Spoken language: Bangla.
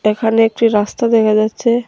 এখানে একটি রাস্তা দেখা যাচ্ছে।